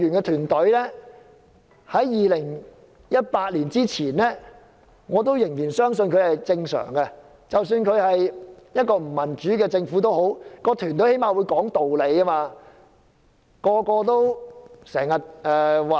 在2018年之前，我仍相信公務員團隊是正常的，即使這是一個不民主的政府，至少那團隊仍會講道理。